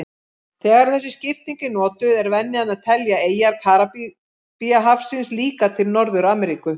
Þegar þessi skipting er notuð er venjan að telja eyjar Karíbahafsins líka til Norður-Ameríku.